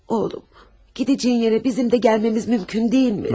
Oğlum, gedəcəyin yerə bizim də gəlməyimiz mümkün deyilmi?